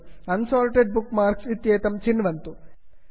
unsorted bookmarks unsorted bookmark इत्येतत् चिन्वन्तु